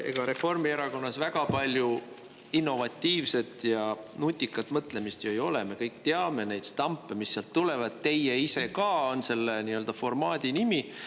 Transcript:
Ega Reformierakonnas väga palju innovatiivset ja nutikat mõtlemist ju ei ole, me kõik teame neid stampe, mis sealt tulevad: "Teie ise ka" on selle nii-öelda formaadi nimi.